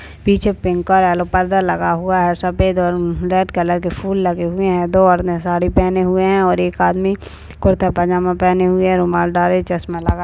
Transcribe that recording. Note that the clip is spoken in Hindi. पीछे पिंक और एलो पर्दा लगा हुआ है सफेद और रेड कलर के फूल लगे हुए है दो औरतें साड़ी पेहने हुए है और एक आदमी कुर्ता पजामा पेहने हुए है रुमाल डाले चश्मा लगाए दो आदमी --